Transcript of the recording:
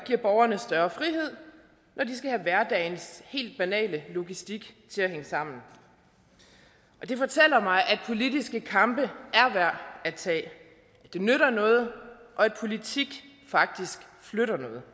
giver borgerne større frihed når de skal have hverdagens helt banale logistik til at hænge sammen det fortæller mig at politiske kampe er værd at tage at det nytter noget og at politik faktisk flytter noget